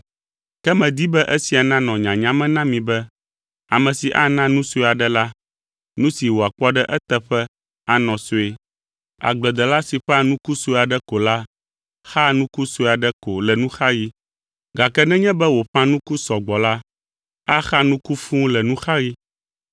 Ke medi be esia nanɔ nyanya me na mi be, ame si ana nu sue aɖe la, nu si wòakpɔ ɖe eteƒe anɔ sue. Agbledela si ƒã nuku sue aɖe ko la, xaa nuku sue aɖe ko le nuxaɣi, gake nenye be wòƒã nuku sɔgbɔ la, axa nuku fũu le nuxaɣi.